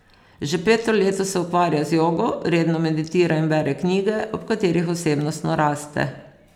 Že peto leto se ukvarja z jogo, redno meditira in bere knjige, ob katerih osebnostno raste.